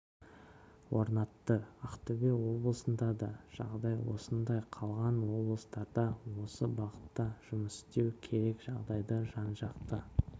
орнатты ақтөбе облысында да жағдай осындай қалған облыстарда осы бағытта жұмыс істеу керек жағдайды жан-жақты